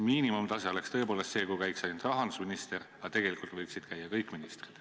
Miinimumtase oleks tõepoolest see, kui käiks ainult rahandusminister, aga tegelikult võiksid käia kõik ministrid.